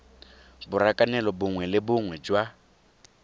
borakanelo bongwe le bongwe jwa